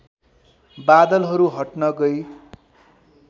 बादलहरू हट्न गई